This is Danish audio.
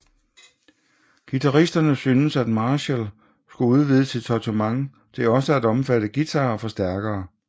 Guitaristerne syntes at Marshall skulle udvide sit sortiment til også at omfatte guitarer og forstærkere